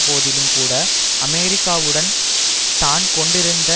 போதிலும்கூட அமெரிக்காவுடன் தான் கொண்டிருந்த